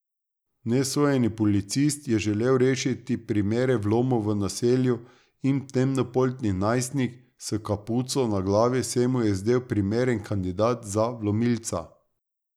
Nesojeni policist je želel rešiti primere vlomov v naselju in temnopolti najstnik s kapuco na glavi se mu je zdel primeren kandidat za vlomilca.